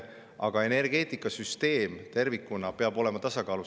Aga energeetikasüsteem tervikuna peab olema tasakaalus.